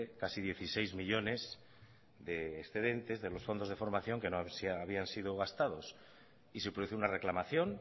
casi dieciséis millónes de excedentes de los fondos de formación que no habían sido gastados y se produce una reclamación